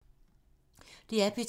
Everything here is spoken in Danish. DR P2